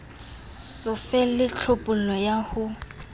so fele tlhophollo ya ho